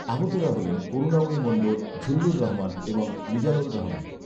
আহতেরা হলেন করুণাময়ী মণ্ডল, ঝূল্লুর রহমান এবং মিজানুল রহমান